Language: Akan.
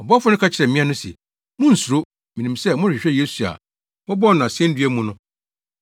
Ɔbɔfo no ka kyerɛɛ mmea no se, “Munnsuro! Minim sɛ morehwehwɛ Yesu a wɔbɔɔ no asennua mu no,